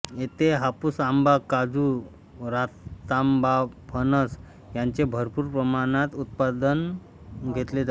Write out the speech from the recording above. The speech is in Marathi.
येथे हापूस आंबा काजू रातांबाफणस ह्यांचे भरपूर प्रमाणात उत्पादन घेतले जाते